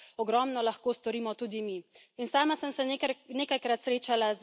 Vem, da je veliko tega odvisno od posameznih držav, ampak ogromno lahko storimo tudi mi.